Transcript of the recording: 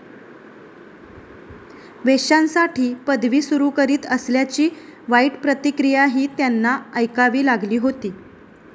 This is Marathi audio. वेश्यांसाठी पदवी सुरु करीत असल्याची वाईट प्रतिक्रियाही त्यांना ऐकावी लागली होती.